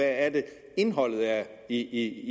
er indholdet i